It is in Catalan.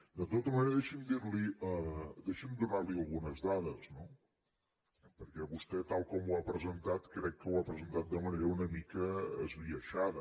de tota manera deixi’m donar li algunes dades no perquè vostè tal com ho ha presentat crec que ho ha presentat de manera una mica esbiaixada